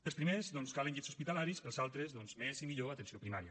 per als primers doncs calen llits hospitalaris per als altres doncs més i millor atenció primària